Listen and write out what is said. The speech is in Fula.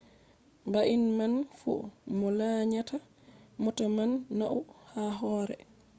bannin man fu mo lanyata mota man nauni ha hore